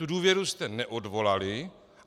Tu důvěru jste neodvolali.